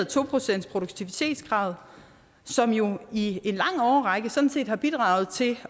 to procentsproduktivitetskravet som jo i en lang årrække sådan set har bidraget til